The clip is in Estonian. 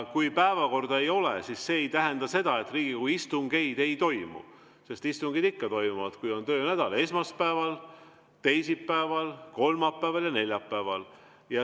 Kui päevakorda ei ole, siis see ei tähenda seda, et Riigikogu istungeid ei toimu, sest istungid ikka toimuvad, kui on töönädal: esmaspäeval, teisipäeval, kolmapäeval ja neljapäeval.